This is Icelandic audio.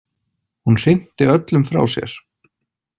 Hún hrinti öllum frá sér.